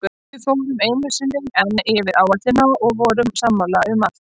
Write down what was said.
Við fórum einu sinni enn yfir áætlunina og vorum sammála um allt.